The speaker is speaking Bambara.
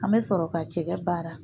An bɛ sɔrɔ ka cɛgɛ baara